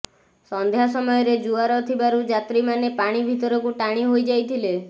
ସନ୍ଧ୍ୟା ସମୟରେ ଜୁଆର ଥିବାରୁ ଯାତ୍ରୀମାନେ ପାଣି ଭିତରକୁ ଟାଣି ହୋଇଯାଇଥିଲେ